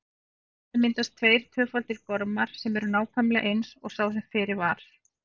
Þannig myndast tveir tvöfaldir gormar sem eru nákvæmlega eins og sá sem fyrir var.